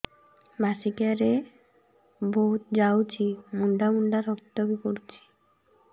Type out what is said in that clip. ମାସିକିଆ ରେ ବହୁତ ଯାଉଛି ମୁଣ୍ଡା ମୁଣ୍ଡା ରକ୍ତ ବି ପଡୁଛି